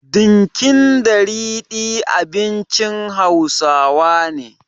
Dinkin da ridi abincin Hausawa ne.